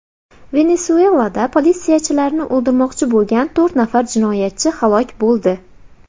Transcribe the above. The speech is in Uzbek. Venesuelada politsiyachilarni o‘ldirmoqchi bo‘lgan to‘rt nafar jinoyatchi halok bo‘ldi.